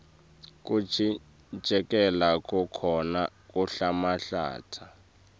kucikelela kukhona kuhlanhlatsa